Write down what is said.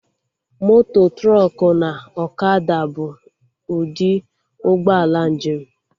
Moto, trọkụ na ọkada bụ ụdị ụgbọ ala njem